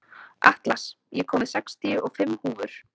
Atlas, ég kom með sextíu og fimm húfur!